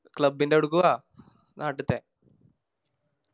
Club ൻറെ അവുടെക്ക് വാ നാട്ടിത്തെ